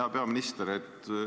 Hea peaminister!